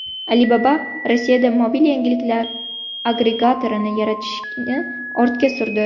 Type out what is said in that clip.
Alibaba Rossiyada mobil yangiliklar agregatorini yaratishni ortga surdi.